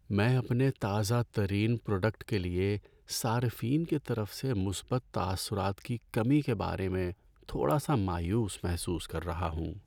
میں اپنے تازہ ترین پروڈکٹ کے لیے صارفین کی طرف سے مثبت تاثرات کی کمی کے بارے میں تھوڑا سا مایوس محسوس کر رہا ہوں۔